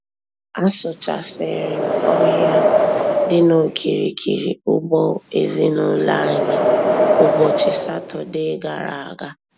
Asụchasịrị m ọhịa dị n'okirikiri ugbo ezinụlọ anyị ụbọchị Satọdee gara aga.